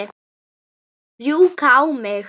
Rjúka á mig?